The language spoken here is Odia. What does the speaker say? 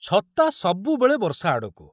ଛତା ସବୁବେଳେ ବର୍ଷା ଆଡ଼କୁ।